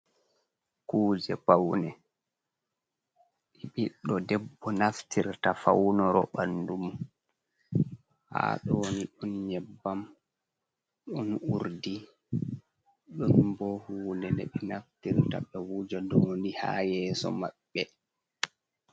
Kuje Paune: ɓiɗɗo debbo naftirta faunuro ɓandum. Ha ɗoni ɗon nyebbam, ɗon urdi, ɗon bo hunde ɓe naftirta ɓe wuja ɗum ni ha yeso maɓɓe.